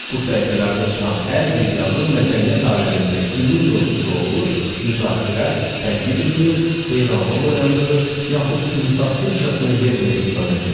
Bu səhifələrdə çıxan hər bir yazı mədəniyyət aləmində günün mövzusu olur, müzakirə, tənqid edilir, heyranlıq oyandırır, yaxud insafsızcasına yerlə yeksan edilirdi.